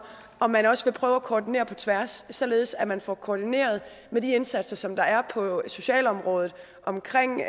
om man også vil prøve at koordinere på tværs således at man får koordineret de indsatser som der er på socialområdet omkring